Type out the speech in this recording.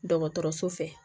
Dɔgɔtɔrɔso fɛ